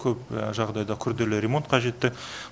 көп жағдайда күрделі ремонт қажетті